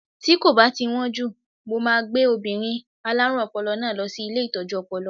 Tí kò bá ti wón jù, mo máa gbé obìnrin alárùn ọpọlọ náà lọ sí ilé Ìtọ́jú Ọpọlọ.